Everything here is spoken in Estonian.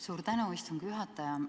Suur tänu, istungi juhataja!